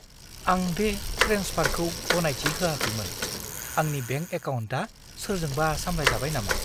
आं बे ट्रेन्सफारखौ गनायथि होआखैमोन। आंनि बेंक एकाउन्टआ सोरजोंबा सामलायजाबाय नामा?